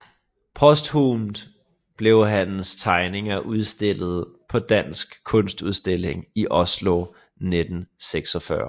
Posthumt blev hans tegninger udstillet på Dansk Kunstudstilling i Oslo 1946